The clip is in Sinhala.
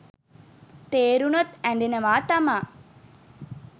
තේරුණොත් ඇඬෙනවා තමා.